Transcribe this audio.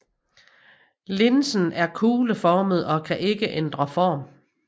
Linsen er kugleformet og kan ikke ændre form